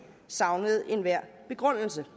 savnede enhver begrundelse